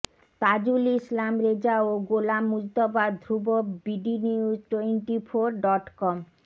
তাজুল ইসলাম রেজা ও Golam Mujtaba Dhrubo bdnews twenty four dot com